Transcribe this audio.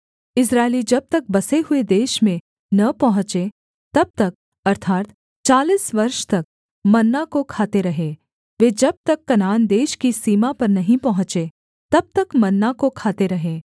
इस्राएली जब तक बसे हुए देश में न पहुँचे तब तक अर्थात् चालीस वर्ष तक मन्ना को खाते रहे वे जब तक कनान देश की सीमा पर नहीं पहुँचे तब तक मन्ना को खाते रहे